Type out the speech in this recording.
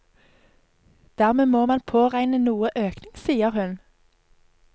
Dermed må man påregne noe økning, sier hun.